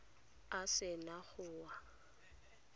a se na go wa